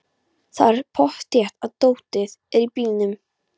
Það er pottþétt að dótið er í bílnum!